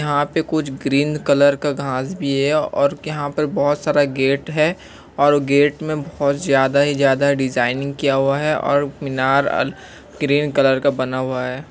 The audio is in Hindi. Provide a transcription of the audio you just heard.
यहां पर कुछ ग्रीन कलर का घास भी है और यहां पर बहुत सारा गेट है और गेट मै बहुत ज्यादा ही ज्यादा डिजाइन किया हुआ है और मीनार ग्रीन कलर का बना हुआ है।